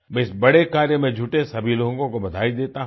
मैं इस बड़े कार्य में जुड़े सभी लोगो को बधाई देता हूँ